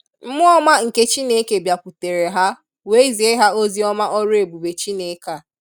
Mmụọọma nke Chineke biakwutere ha wee zie ha ozioma ọrụ ebube Chineke a.